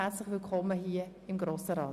Herzlich Willkommen im Grossen Rat!